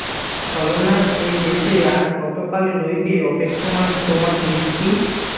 ছলনার এ দেশে আর কতোকাল রইবে অপেক্ষমান তোমার দৃষ্টি